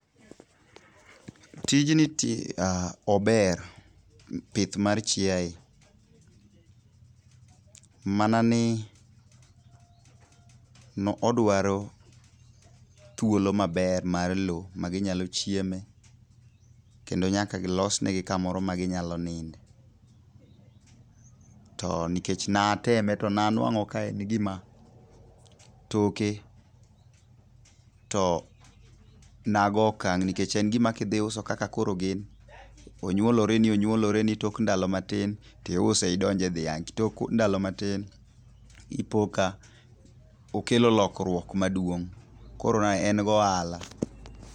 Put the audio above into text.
Tijni ober. Pith mar chiae, mana ni odwaro thuolo maber mar lowo ma ginyalo chieme. Kendo nyaka losnegi kamoro ma ginyalo ninde. To nikech naateme, to ne anwangó ka en gima, toke, to nago okang' nikech en gima kidhi iuso, kaka koro gin, onywoloreni onywoloreni, tok ndalo matin, to iuse idonje dhiang'. Tok ndalo matin ipo ka okelo lokruok maduong'. Koro en gi ohala.